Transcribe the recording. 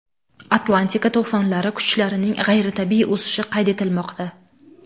Atlantika to‘fonlari kuchlarining g‘ayritabiiy o‘sishi qayd etilmoqda.